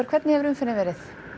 hvernig hefur umferðin verið